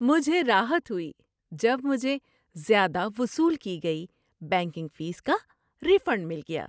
مجھے راحت ہوئی جب مجھے زیادہ وصول کی گئی بینکنگ فیس کا ری فنڈ مل گیا۔